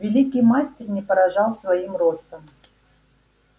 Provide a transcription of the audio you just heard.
великий мастер не поражал своим ростом